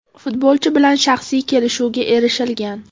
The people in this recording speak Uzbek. Futbolchi bilan shaxsiy kelishuvga erishilgan.